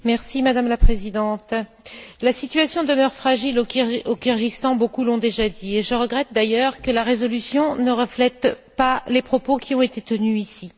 Madame la Présidente, la situation demeure fragile au Kirghizstan, beaucoup l'ont déjà dit, et je regrette d'ailleurs que la résolution ne reflète pas les propos qui ont été tenus ici.